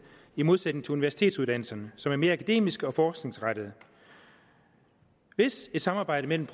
i modsætning til universitetsuddannelserne som er mere akademiske og forskningsrettede hvis et samarbejde mellem